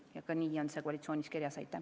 Ja nii on see ka koalitsioonileppes kirjas.